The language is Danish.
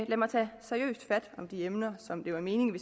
lad mig tage seriøst fat om de emner som det var meningen at